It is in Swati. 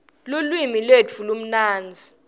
lulwimi lwetfu lumnandzi